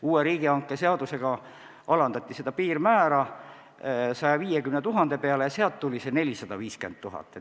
Uue riigihangete seadusega alandati piirmäär 150 000 euro peale ja sealt tuli see 450 000 eurot.